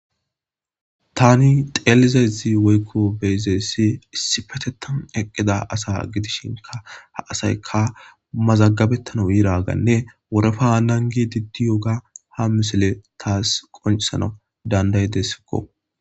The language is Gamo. Tani xeelizazi woykko beyzessi issi petetan eqqida asa gidishinka ha asayka mazaggabettana wiiraganne worefa haanan gi diddi yoga ha misile taas qoncsana dandaydesikko.